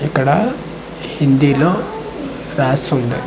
ఇక్కడ హిందీ లో రాసుంది .